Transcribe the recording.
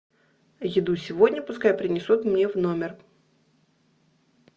еду сегодня пускай принесут мне в номер